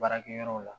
Baarakɛyɔrɔ la